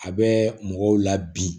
A bɛ mɔgɔw la bi